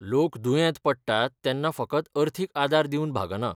लोक दुयेंत पडटात तेन्ना फकत अर्थीक आदार दिवन भागना .